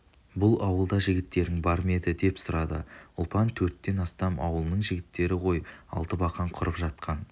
бұл ауылда жігіттерің бар ма еді деп сұрады ұлпан төрттен астам ауылының жігіттері ғой алты бақан құрып жатқан